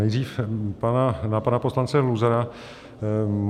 Nejdřív na pana poslance Luzara .